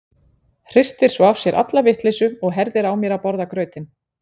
Hristir svo af sér alla vitleysu og herðir á mér að borða grautinn.